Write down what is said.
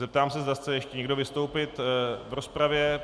Zeptám se, zda chce ještě někdo vystoupit v rozpravě.